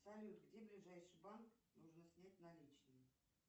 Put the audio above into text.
салют где ближайший банк нужно снять наличные